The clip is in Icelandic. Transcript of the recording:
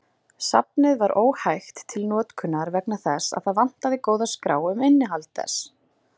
Safnið var óhægt til notkunar vegna þess að það vantaði góða skrá um innihald þess.